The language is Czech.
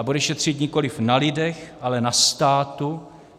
A bude šetřit nikoliv na lidech, ale na státu.